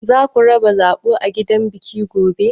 Zaku raba zaɓo a gidan biki gobe?